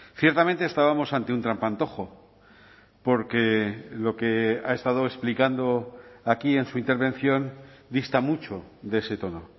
ciertamente estábamos ante un trampantojo porque lo que ha estado explicando aquí en su intervención dista mucho de ese tono